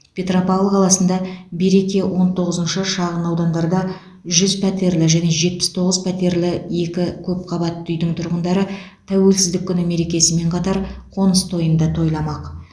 петропавл қаласында береке он тоғызыншы шағын аудандарда жүз пәтерлі және жетпіс тоғыз пәтерлі екі көп қабатты үйдің тұрғындары тәуелсіздік күні мерекесімен қатар қоныс тойын да тойламақ